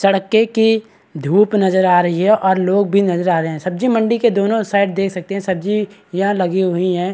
सड़के की धूप नजर आ रही और लोग भी नजर आ रहे हैं सब्जी मंडी के दोनों साइड देख सकते हैं सब्जी यहाँ लगी हुई हैं।